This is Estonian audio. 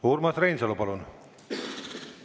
Urmas Reinsalu, palun!